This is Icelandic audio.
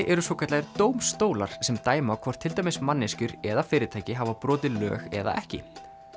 eru svokallaðir dómstólar sem dæma hvort til dæmis manneskjur eða fyrirtæki hafa brotið lög eða ekki